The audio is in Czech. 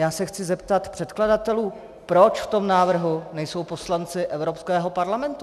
Já se chci zeptat předkladatelů: Proč v tom návrhu nejsou poslanci Evropského parlamentu?